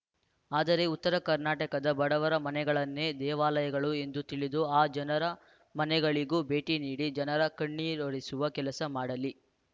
ಆದರೆ ಉತ್ತರ ಕರ್ನಾಟಕದ ಬಡವರ ಮನೆಗಳನ್ನೇ ದೇವಾಲಯಗಳು ಎಂದು ತಿಳಿದು ಆ ಜನರ ಮನೆಗಳಿಗೂ ಭೇಟಿ ನೀಡಿ ಜನರ ಕಣ್ಣೀರೊರೆಸುವ ಕೆಲಸ ಮಾಡಲಿ